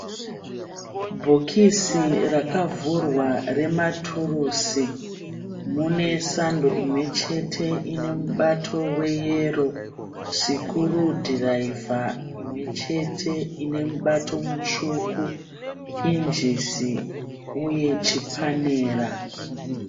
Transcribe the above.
Bhikisi rakavhurwa rematurusi. Mune sando imwe chete ine mubato weyero sikurudhiraivha imwe chete ine mubato mutsvuku, pinjisi uye chipanera